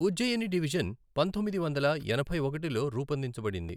Ujjaini division పంతొమ్మిది వందల ఎనభై ఒకటిలో రూపొందించబడింది.